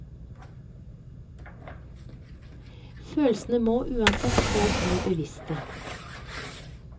Følelsene må uansett få bli bevisste.